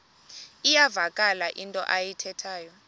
iyavakala into ayithethayo